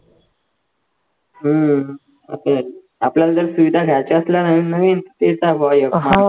हम्म आता आपल्याला जर सुविधा घायच्या असल्या नवीन नवीन तर